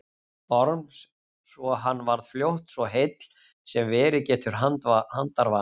Orms svo hann varð fljótt svo heill sem verið getur handarvani.